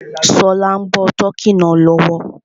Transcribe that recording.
Ṣọlá ń bọ tọ́kì náà lọ́wọ́